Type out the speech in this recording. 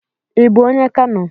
Ị bu onye Kano?